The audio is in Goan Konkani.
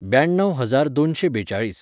ब्याणव हजार दोनशें बेचाळीस.